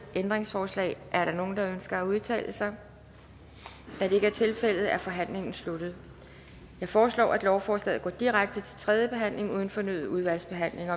ændringsforslag er der nogen der ønsker at udtale sig da det ikke er tilfældet er forhandlingen sluttet jeg foreslår at lovforslaget går direkte til tredje behandling uden fornyet udvalgsbehandling